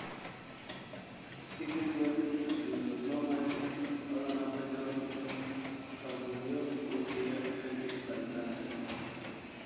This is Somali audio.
Si ka duwan rhizotomies, badanaa ma jiro kabuubyo wajiga ka dib qalitaankan.